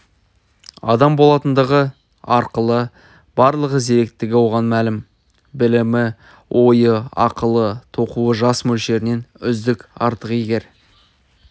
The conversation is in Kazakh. адам болатындығы ақылы барлығы зеректігі оған мәлім білімі ойы ақылы тоқуы жас мөлшерінен үздік артық егер